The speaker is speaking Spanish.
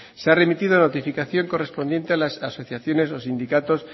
se ha remitido la notificación correspondiente a las asociaciones los sindicatos